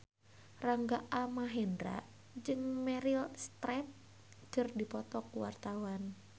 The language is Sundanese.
Rangga Almahendra jeung Meryl Streep keur dipoto ku wartawan